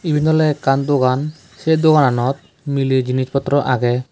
iben ole ekkan dogaan say dogananot milay jinis potro agey.